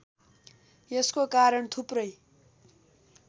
यसको कारण थुप्रै